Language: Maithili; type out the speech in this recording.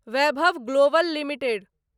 Vaibhav global limited